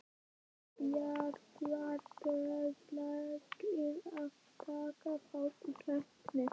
Eru bæjarbúar duglegir að taka þátt í keppninni?